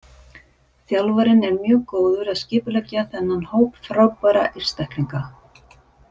Þjálfarinn er mjög góður að skipuleggja þennan hóp frábærra einstaklinga.